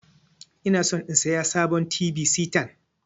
Inason in siya sabon t.v sitan.